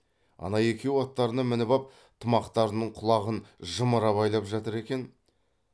ана екеуі аттарына мініп ап тымақтарының құлағын жымыра байлап жатыр екен